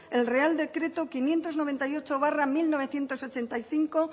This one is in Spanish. el real decreto quinientos noventa y ocho barra mil novecientos ochenta y cinco